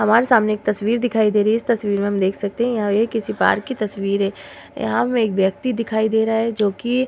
हमारे सामने एक तस्वीर दिखाई दे रही है। इस तस्वीर में हम देख सकते है यहा एक किसी पार्क की तस्वीर है। यहां में एक व्यक्ति दिखाई दे रहा है जो कि --